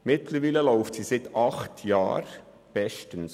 Mittlerweise wird diese seit bald acht Jahren gut betrieben.